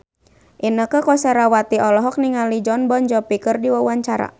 Inneke Koesherawati olohok ningali Jon Bon Jovi keur diwawancara